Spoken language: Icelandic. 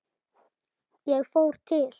Ég fór til